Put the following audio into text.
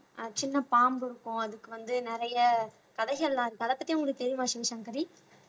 அஹ் சின்ன பாம்பு இருக்கும் அதுக்கு வந்து நிறைய கதைகள்லாம் இருக்கு அதை பத்தி உங்களுக்கு தெரியுமா சிவசங்கரி